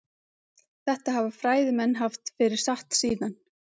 Þetta hafa fræðimenn haft fyrir satt síðan.